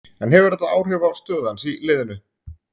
En hefur þetta áhrif á stöðu hans í liðinu?